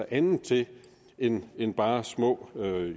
andet til end end bare små